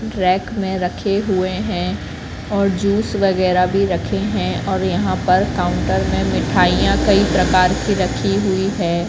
Rack में रखे हुए हैं और जूस वगैराह भी रखे हैं और यहां पर काउंटर में मिठाइयां कई प्रकार की रखी हुई हैं।